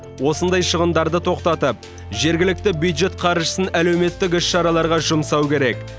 осындай шығындарды тоқтатып жергілікті бюджет қаржысын әлеуметтік іс шараларға жұмсау керек